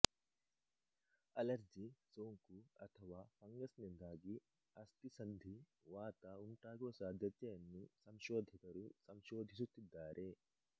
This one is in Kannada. ಅಲರ್ಜಿ ಸೋಂಕು ಅಥವಾ ಫಂಗಸ್ ನಿಂದಾಗಿ ಅಸ್ಥಿಸಂಧಿವಾತಉಂಟಾಗುವ ಸಾಧ್ಯತೆಯನ್ನು ಸಂಶೋಧಕರು ಸಂಶೋಧಿಸುತ್ತಿದ್ದಾರೆ